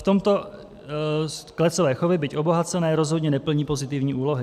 V tomto klecové chovy, byť obohacené, rozhodně neplní pozitivní úlohy.